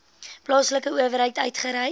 plaaslike owerheid uitgereik